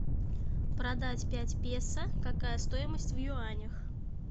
продать пять песо какая стоимость в юанях